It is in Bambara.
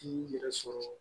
I y'i yɛrɛ sɔrɔ